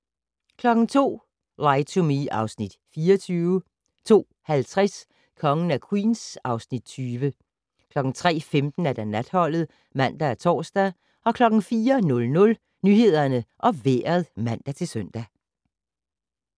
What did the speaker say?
02:00: Lie to Me (Afs. 24) 02:50: Kongen af Queens (Afs. 20) 03:15: Natholdet (man og tor) 04:00: Nyhederne og Vejret (man-søn)